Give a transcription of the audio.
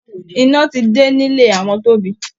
Iná ti dé nílé àwọn Tobi